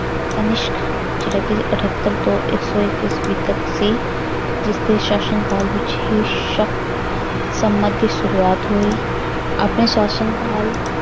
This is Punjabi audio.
ਕਨਿਸ਼ਕ ਜਿਹੜਾ ਕਿ ਅਠੱਤਰ ਤੋਂ ਇੱਕ ਸੌ ਈਸਵੀ ਤੱਕ ਸੀ ਜਿਸਦੇ ਸ਼ਾਸ਼ਨ ਕਾਲ ਵਿੱਚ ਹੀ ਸ~ ਸਮਾਂ ਦੀ ਸ਼ੁਰੂਆਤ ਹੋਈ ਆਪਣੇ ਸ਼ਾਸ਼ਨ ਕਾਲ